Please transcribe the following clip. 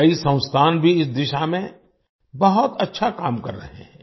कई संस्थान भी इस दिशा में बहुत अच्छा काम कर रहे हैं